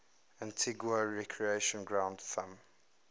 antigua recreation ground thumb